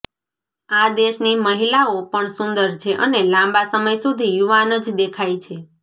આ દેશની મહિલાઓ પણ સુંદર છે અને લાંબા સમય સુધી યુવાન જ દેખાય છે